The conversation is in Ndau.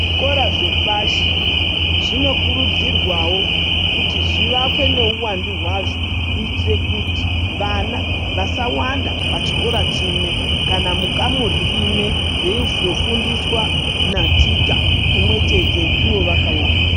Zvikora zvepashi, zvinokurudzirwawo kuti zvivakwe neuwandu hwazvo, kuitire kuti vana vasawanda pachikora chimwe ,kana mukamuri rimwe, veizofundiswa naticha umwe chete, ivo vakawanda.